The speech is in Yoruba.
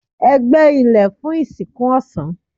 Ẹ gbẹ ilẹ fun ìsìnkú ọ̀sán